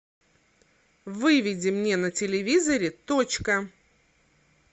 выведи мне на телевизоре точка